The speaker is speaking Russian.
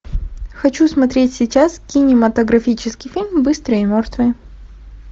хочу смотреть сейчас кинематографический фильм быстрый и мертвый